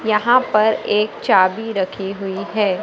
यहां पर एक चाबी रखी हुई है।